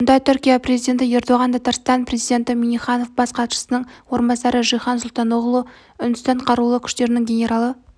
мұнда түркия президенті ердоған татарстан президенті минниханов бас хатшысының орынбасары жихан сұлтаноғлу үндістан қарулы күштерінің генералы